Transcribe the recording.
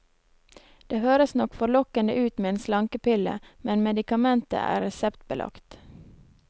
Det høres nok forlokkende ut med en slankepille, men medikamentet er reseptbelagt.